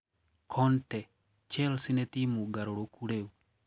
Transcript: Conte:Chelsea nĩ timu ngarũrũkũ rĩu.